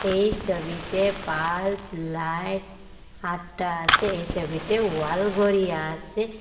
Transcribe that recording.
এই সবিতে bulb light আঁট্টা আসে এই সবিতে ওয়াল ঘড়ি আসে।